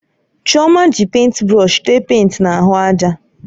Chioma ji pèịnt brọsh téé pèịnt na ahụ ájà